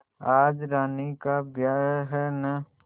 आज रानी का ब्याह है न